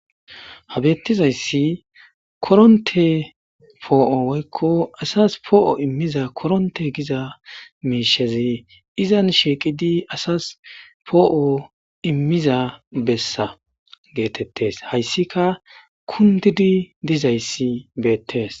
Ha betizayssi koronththe po'o woyko asas po'o immiza koronththe Giza mishshazi izan shiqidi asas po'o immiza bessa gettetees. Hayssakka kundidi dizayssi bettes.